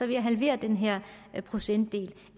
jeg halvere den her procentdel